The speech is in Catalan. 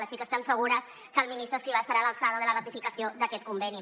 així que estem segures que el ministre escrivá estarà a l’alçada de la ratificació d’aquest conveni